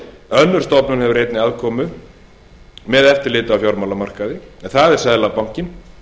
önnur stofnun hefur einnig aðkomu að eftirliti með fjármálamarkaðnum en það er seðlabankinn